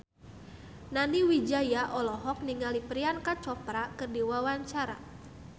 Nani Wijaya olohok ningali Priyanka Chopra keur diwawancara